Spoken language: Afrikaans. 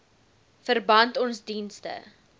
verband ons dienste